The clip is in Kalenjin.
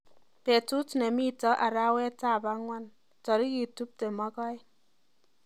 Betut nemito arawetap angwan, tarik tuptem ak aeng